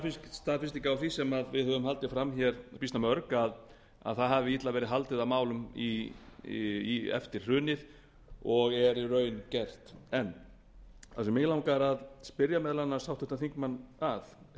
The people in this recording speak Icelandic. staðfesting á því sem vi á höfum haldið fram býsna mörg að illa hafi verið haldið á málum eftir hrunið og er í raun gert enn það sem mig langar að spyrja meðal annars háttvirtan þingmann að er